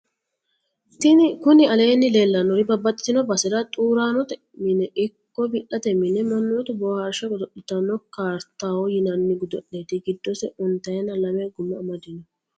kuni aleenni leellannori babbaxxitino basera xuraanote mine ikko wi'late mine mannootu boohaarsheho godo'litanno kaaritaho yinanni godo'lete. giddosi ontayina lame guma amadino.